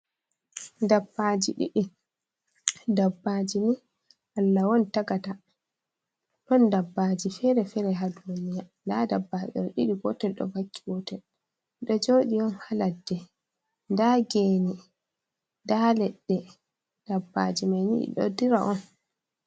Dabbaji ɗiɗi. Dabbaji ni Allah on tagata. Ɗon Dabbaji fere fere ha duniya. Nda Dabbaji ɗo ɗiɗi gotel ɗo vakki gotel ɓe ɗo joɗi on ha ladde. Nda geene, nda leɗɗe, Dabbaji mai ni ɗi ɗo dura on.